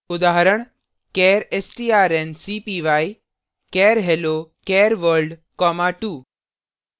उदाहरण char strncpy char hello char world 2